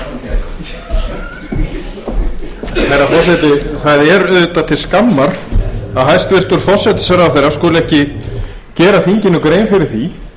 herra forseti það er auðvitað til skammar að hæstvirtur forsætisráðherra skuli ekki gera þinginu grein fyrir því